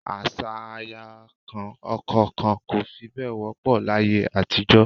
Àṣà aya kan ọkọ kan kò fi bẹ́ẹ̀ wọ́pọ̀ láyé àtijọ́